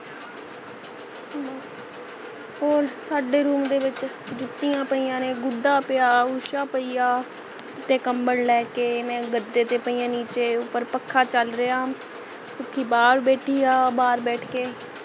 ਹੋਰ ਸਾਡੇ room ਦੇ ਵਿੱਚ ਜੁਤੀਆਂ ਪਯੀਆਂ ਨੇ ਗੁੱਡਾ ਪਿਆ usha ਪਈ ਹੈ ਉਤੇ ਕਮਬਲ ਲੈ ਕੇ ਮੈਂ ਗਦੇ ਤੇ ਪਈ ਹੈ ਨੀਚੇ ਉਪਰ ਪੱਖਾਂ ਚਲ ਰਿਹਾ ਸੁਖੀ ਬਾਹਰ ਬੈਠੀ ਹੈ ਬਾਹਰ ਬੈਠ ਕੇ